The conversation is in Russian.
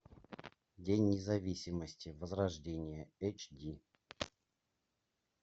день независимости возрождение эйч ди